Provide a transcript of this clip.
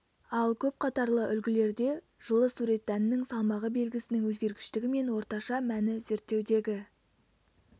ал көп қатарлы үлгілерде жылы сурет дәннің салмағы белгісінің өзгергіштігі мен орташа мәні зерттеудегі